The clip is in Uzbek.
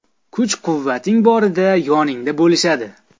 Kuch-quvvating borida yoningda bo‘lishadi.